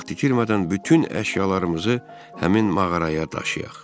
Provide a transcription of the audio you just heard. vaxt itirmədən bütün əşyalarımızı həmin mağaraya daşıyaq.